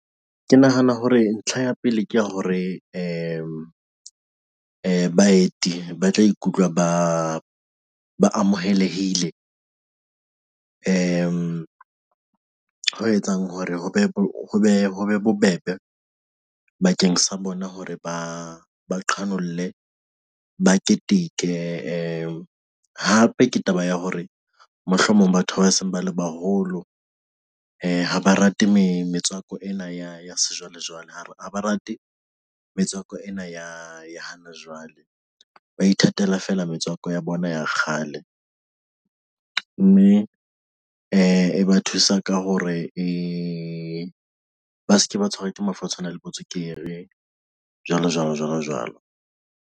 Ke nahana hore ntlha ya pele ke ya hore baeti ba tla ikutlwe ba amohelehile. Ho etsang hore hobe bobebe bakeng sa bona hore ba ba qhanolle ba keteke, hape ke taba ya hore mohlomong batho ba seng bale baholo ha ba rate metswako ena ya sejwalejwale hare ha ba rate metswako ena ya e hana jwale, ba ithatela feela metswako ya bona ya kgale mme e ba thusa ka hore e ba se ke ba tshwerwe ke mafu a tshwanang le bo tswekere, jwalo, jwalo, jwalo, jwalo.